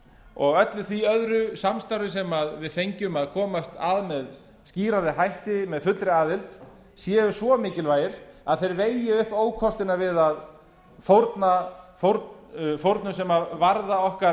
og öllu því öðru samstarfi sem við fengjum að komast að með skýrari hætti að fullri aðild séu svo mikilvægir að þeir vegi upp ókostina við fórnum sem varða okkar